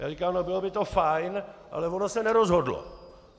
Já říkám: No, bylo by to fajn, ale ono se nerozhodlo.